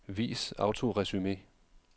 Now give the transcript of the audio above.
Vis autoresumé.